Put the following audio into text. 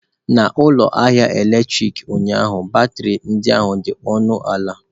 N'ụlọ ahịa eletrik ụnyaahụ batrị ndị ahụ dị ọnụ ala.